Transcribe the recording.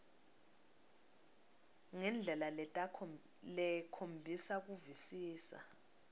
ngendlela lekhomba kuvisisa